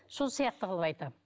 сол сияқты қылып айтамын